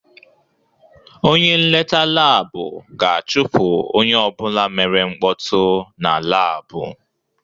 Onye nleta laabu ga-achụpụ onye ọbụla mere mkpọtụ na laabụ.